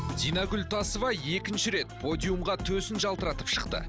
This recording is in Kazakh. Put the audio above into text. динагүл тасыбай екінші рет подиумға төсін жалтыратып шықты